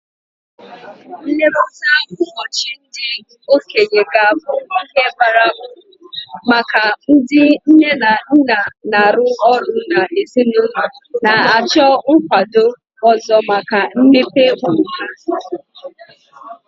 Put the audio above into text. Nlekọta ụbọchị ndị okenye ga-abụ ihe bara uru maka ndị nne na nna na-arụ ọrụ na ezinụlọ na-achọ nkwado ọzọ maka mmepe ụmụ ha.